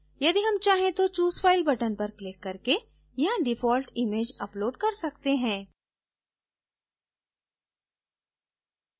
यदि हम चाहें तो choose file button पर क्लिक करके यहाँ default image upload कर सकते हैं